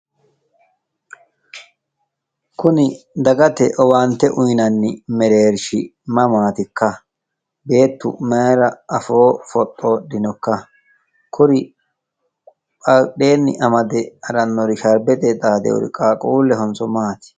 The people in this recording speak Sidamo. Kuni dagate owaante uyinanni mereershi mamatikka? Beettu afoo mayra foxodhinokka? kuri badheenni sharbete amade xaxinori qaaqqulehonso maati?